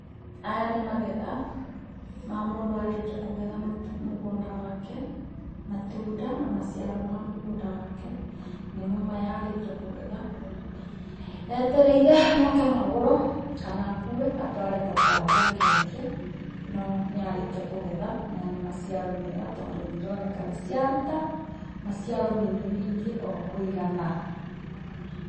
Aya nĩ magetha ma mũndũ arĩkia kũgetha mũgũnda wake matunda na maciaro ma mũgũnda wake nĩmo maya arikia kũgetha. Etereire moke magũrwo kana akue atware thoko athiĩ akendie no nĩ arĩkia kũgetha. Maya nĩ maciaro mega tondũ nĩ ironeka nĩ ciaruta maciaro maingĩ maingĩ o kũigana.